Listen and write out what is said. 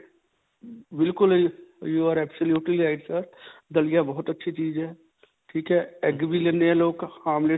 ਬਿਲਕੁਲ ਹੀ you are absolutely right sir. ਦਲਿਆ ਬਹੁਤ ਅੱਛੀ ਚੀਜ ਹੈ. ਠੀਕ ਹੈ. egg ਵੀ ਲੈਂਦੇ ਹੈ ਲੋਕ. ਆਮਲੇਟ.